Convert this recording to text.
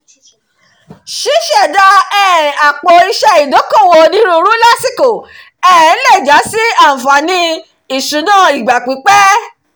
ṣiṣẹda um àpò-iṣẹ́ ìdókòwò onírúurú lásìkò um lè já sí àǹfààní ìṣúná ìgbà-pípẹ́